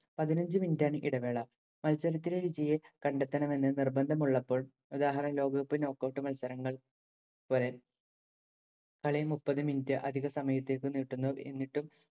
പതിനഞ്ചു minute ആണ് ഇടവേള. മത്സരത്തിലെ വിജയിയെ കണ്ടെത്തണമെന്ന് നിർബന്ധമുളളപ്പോൾ ഉദാഹരണം ലോകകപ്പ്, knock out മത്സരങ്ങൾ പോലെ കളിയെ മുപ്പത് മിനുട്ട് അധിക സമയത്തേക്ക് നീട്ടുന്നു. എന്നിട്ടും,